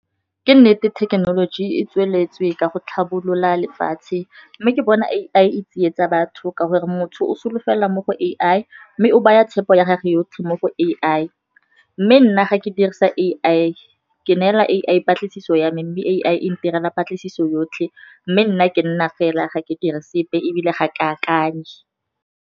Ke nnete thekenoloji e tsweletswe ka go tlhabolola lefatshe mme ke bona A_I e tsietsa batho, ka gore motho o solofela mo go A_I. Mme o baya tshepo ya gage yotlhe mo go A_I, mme nna ga ke dirisa A_I ke neela A_I patlisiso yame, Mme A_I intirela patlisiso yotlhe, mme nna ke nna fela ga ke dire sepe ebile ga ke akanye.